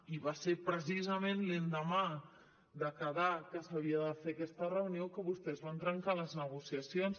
i va ser precisament l’endemà de quedar que s’havia de fer aquesta reunió que vostès van trencar les negociacions